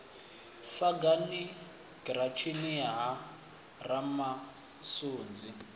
sagani giratshini ya ha ramasunzi